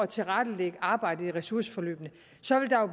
tilrettelægge arbejdet i ressourceforløbene